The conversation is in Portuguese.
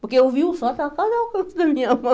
Porque eu vi o sol, estava quase ao alcance da minha mão.